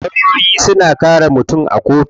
Lawyoyi suna kare mutum a kotu.